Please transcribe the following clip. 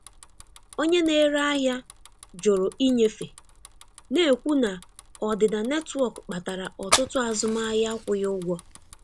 Onye na-ere ahịa jụrụ ịnyefe, na-ekwu na ọdịda netwọk kpatara ọtụtụ azụmahịa akwụghị ụgwọ.